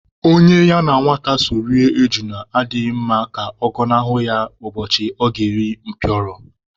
Onye ya na nwata so rie ejula adịghị mma ka ọ gọnahụ ya ụbọchị a ga-eri mpịọrọ.